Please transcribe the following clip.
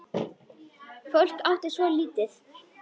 Fólk átti svo lítið.